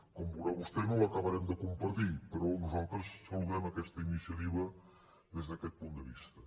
com veurà vostè no l’acabarem de compartir però nosaltres saludem aquesta iniciativa des d’aquest punt de vista